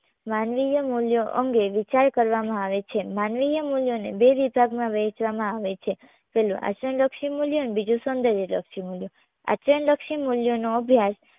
માનવીય મૂલ્યો અંગે વિચાર કરવામાં આવે છે. માનવીય મૂલ્યોને બે વિભાગમાં વહેંચવામાં આવે છે. પહેલું આચરણ લક્ષી મૂલ્યો અને બીજું સૌંદર્ય લક્ષી મૂલ્યો આચરણ લક્ષી મૂલ્યોનો અભ્યાસ